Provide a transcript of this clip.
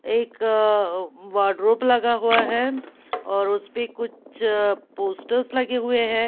एक वार्ड्रोब लगा हुआ है और उस पे कुछ पोस्टर्स लगे हुए हैं ।